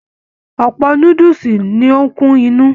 Ọpọ núdúsí ní o n kún inú.